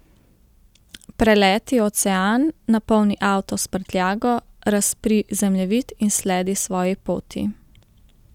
Preleti ocean, napolni avto s prtljago, razpri zemljevid in sledi svoji poti.